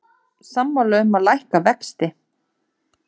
Sammála um að lækka vexti